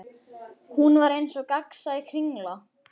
Hún var eins og gegnsæ kringla.